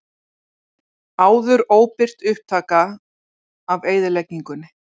Áður óbirt upptaka af eyðileggingunni